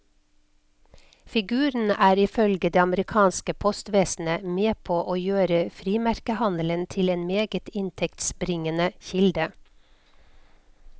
Figuren er ifølge det amerikanske postvesenet med på å gjøre frimerkehandelen til en meget inntektsbringende kilde.